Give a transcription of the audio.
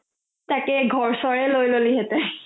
তাকে ঘৰচৰে লয় ললি হেতেন